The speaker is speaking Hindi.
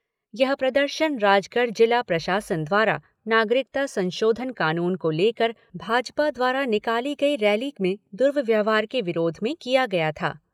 यह प्रदर्शन राजगढ़ जिला प्रशासन द्वारा नागरिकता संशोधन कानून को लेकर भाजपा द्वारा निकाली गई रैली में दुर्व्यवहार के विरोध में किया था।